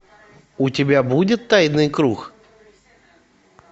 у тебя будет тайный круг